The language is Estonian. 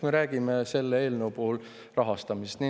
Me räägime selle eelnõu puhul rahastamisest.